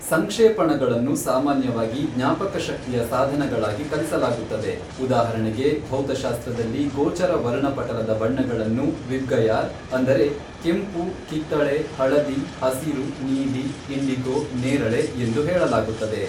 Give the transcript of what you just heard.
ಸಂಕ್ಷೇಪಣಗಳನ್ನು ಸಾಮಾನ್ಯವಾಗಿ ಜ್ಞಾಪಕಶಕ್ತಿಯ ಸಾಧನಗಳಾಗಿ ಕಲಿಸಲಾಗುತ್ತದೆ, ಉದಾಹರಣೆಗೆ ಭೌತಶಾಸ್ತ್ರದಲ್ಲಿ ಗೋಚರ ವರ್ಣಪಟಲದ ಬಣ್ಣಗಳನ್ನು ವಿಬ್ಗಯಾರ್, ಅಂದರೆ ಕೆಂಪು, ಕಿತ್ತಳೆ ,ಹಳದಿ ,ಹಸಿರು, ನೀಲಿ, ಇಂಡಿಗೊ, ನೇರಳೆ ಎಂದು ಹೇಳಲಾಗುತ್ತದೆ.